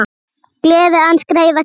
Gleði aðeins greiða kann.